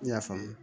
Ne y'a faamu